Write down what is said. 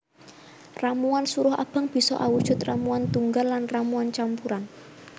Ramuan suruh abang bisa awujud ramuan tunggal lan ramuan campuran